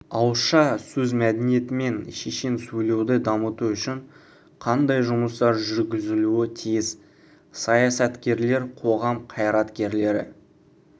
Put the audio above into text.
ауызша сөз мәдениеті мен шешен сөйлеуді дамыту үшін қандай жұмыстар жүргізілуі тиіс саясаткерлер қоғам қайраткерлері